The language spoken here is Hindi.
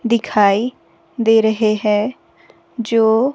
दिखाई दे रहे हैं जो--